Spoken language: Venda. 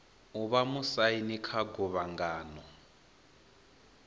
o vha musaini kha guvhangano